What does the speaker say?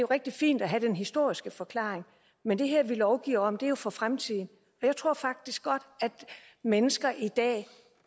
rigtig fint at have den historiske forklaring men det vi her lovgiver om er jo for fremtiden og jeg tror faktisk godt at mennesker i dag